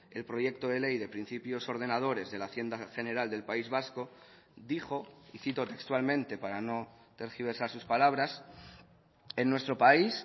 el proyecto de ley de principios ordenadores de la hacienda general del país vasco dijo y cito textualmente para no tergiversar sus palabras en nuestro país